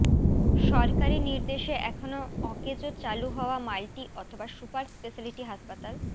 সরকারি নির্দেশে এখনও অকেজো চালু হওয়া মাল্টি অথবা সুপার স্পেশালিটি হাসপাতাল